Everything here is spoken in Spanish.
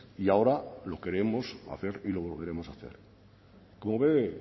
y ahora lo queremos hacer y lo volveremos a hacer como ve